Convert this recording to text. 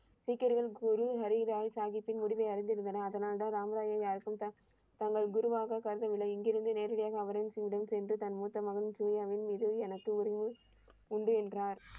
சீக்கியர்கள் குரு ஹரி ராய் சாஹீபின் முடிவை அறிந்திருந்தனர். அதனால் தான் ராம் ராயை யாருக்கும் தா தங்கள் குருவாக கருதவில்லை. இங்கிருந்து நேரடியாக அவரின் சென்று தன் மூத்த மகன் சூர்யாவின் மீது எனக்கு உறவு உண்டு என்றார்.